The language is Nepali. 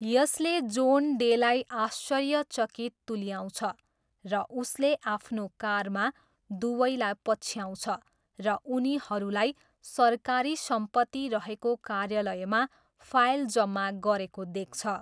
यसले जोन डेलाई आश्चर्यचकित तुल्याउँछ, र उसले आफ्नो कारमा दुवैलाई पछ्याउँछ र उनीहरूलाई सरकारी सम्पत्ति रहेको कार्यालयमा फाइल जम्मा गरेको देख्छ।